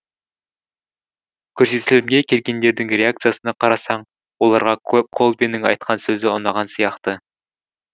көрсетілімге келгендердің реакциясына қарасаң оларға колбинның айтқан сөзі ұнаған сияқты